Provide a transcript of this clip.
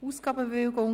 «Ausgabenbewilligung